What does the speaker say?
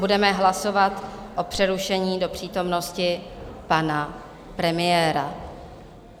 Budeme hlasovat o přerušení do přítomnosti pana premiéra.